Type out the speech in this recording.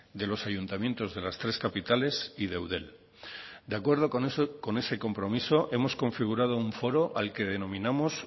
de los ayuntamientos de las tres capitales y de eudel de acuerdo con ese compromiso hemos configurado un foro al que denominamos